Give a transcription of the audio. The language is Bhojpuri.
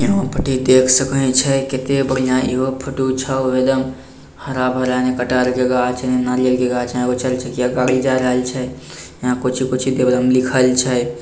यहाँ परी देख सकें छे केते बढ़ियां एगो फोटो छो | एकदम हरा-भरा के गाछ नारियल के गाछ छे यहाँ कुछो-कुछो के लिखल छे।